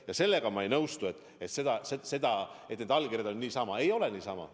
Ja sellega ma ei nõustu, et need allkirjad anti niisama – ei antud niisama.